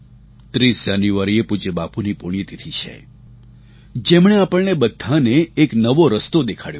30 જાન્યુઆરીએ પૂજ્ય બાપુની પુણ્યતિથિ છે જેમણે આપણને બધાને એક નવો રસ્તો દેખાડ્યો છે